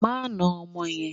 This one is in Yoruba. Má na ọmọ yẹn!